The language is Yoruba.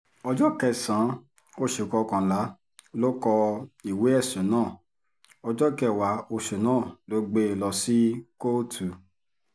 ọjọ́ kẹsàn-án oṣù kọkànlá ló kó ìwé ẹ̀sùn náà ọjọ́ kẹwàá oṣù náà ló gbé e lọ sí kóòtù